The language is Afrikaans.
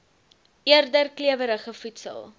eerder klewerige voedsel